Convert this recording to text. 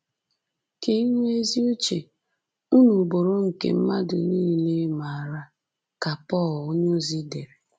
“Ka inwe ezi uche unu bụrụ nke mmadụ nile maara,” ka Pọl onyeozi dere